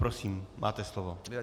Prosím, máte slovo.